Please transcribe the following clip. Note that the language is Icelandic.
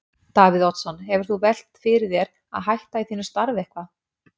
Davíð Oddsson: Hefur þú velt fyrir þér að hætta í þínu starfi eitthvað?